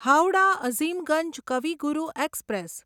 Howrah Azimganj Kavi Guru express